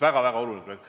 Üks väga oluline projekt.